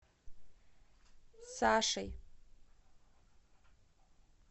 сашей